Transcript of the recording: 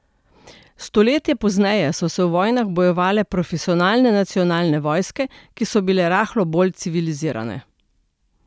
Stoletje pozneje so se v vojnah bojevale profesionalne nacionalne vojske, ki so bile rahlo bolj civilizirane.